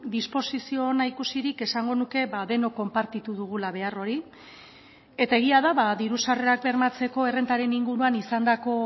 disposizio ona ikusirik esango nuke denok konpartitu dugula behar hori eta egia da diru sarrerak bermatzeko errentaren inguruan izandako